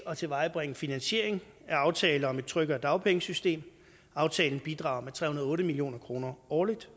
at tilvejebringe finansiering af aftale om et tryggere dagpengesystem aftalen bidrager med tre hundrede og otte million kroner årligt